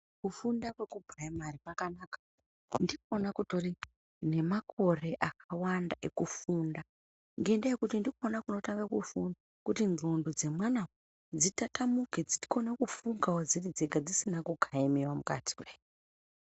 Kufunda kwekupuraimari kwakanaka. Ndikona kutori nemakore akawanda ekufunda, ngendaa yekuti ndikona kunotanga kufu kuti ndxondo dzemwana dzitatamuke dzikone kufungawo dziri dzega dzisine kukayaniwe mukati pheya.